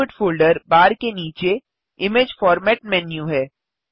output folder bar के नीचे image format menu है